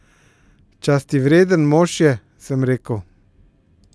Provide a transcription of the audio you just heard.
Častivreden mož je, sem rekel.